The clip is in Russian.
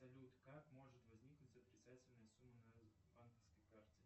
салют как может возникнуть отрицательная сумма на банковской карте